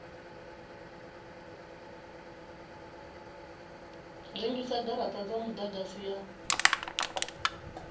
rengisa garata dza mudagasi ya